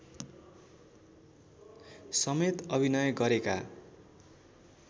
समेत अभिनय गरेका